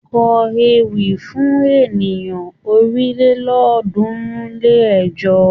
Kọ ewì fún ènìyàn ọ̀rìnlélọ́ọ̀ọ́dúnrún-lé-ẹ̀jọ.